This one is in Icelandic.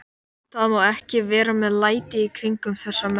Það má ekki vera með læti í kringum þessa menn!